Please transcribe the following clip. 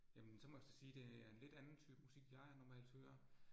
Jamen så må jeg så sige, det er en lidt anden type musik, jeg normalt hører